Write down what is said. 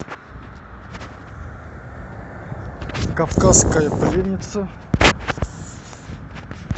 кавказская пленница